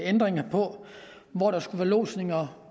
ændringer af hvor der skulle være lodsninger